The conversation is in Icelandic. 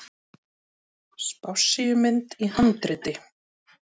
Spássíumynd í handriti.